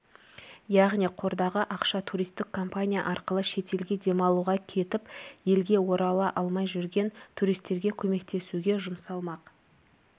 яғни қордағы ақша туристік компания арқылы шетелге демалуға кетіп елге орала алмай жүрген туристерге көмектесуге жұмсалмақ